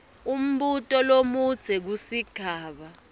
umbuto lomudze kusigaba